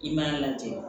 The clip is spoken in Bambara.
I m'a lajɛ